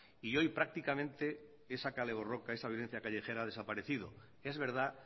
y hoy prácticamente esa kale borroka esa violencia callejera ha desaparecido es verdad